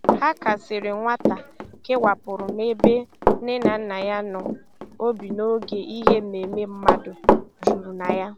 Ha kasiri nwata kewapụrụ n'ebe nne na nna ya nọ obi n'oge ihe mmemme mmadụ juru na ya.